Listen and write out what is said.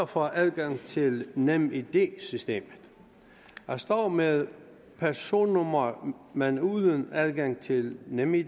får adgang til nemid systemet at stå med personnummer men uden adgang til nemid